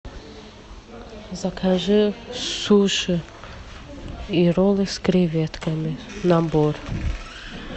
закажи суши и роллы с креветками набор